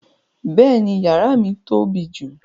Bẹ́ẹ̀ni, yàrà mi tó bí jù.